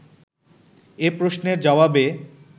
এ প্রশ্নের জবাবে